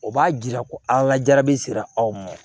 O b'a jira ko an ka jaabi sera aw ma